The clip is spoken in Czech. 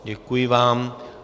Děkuji vám.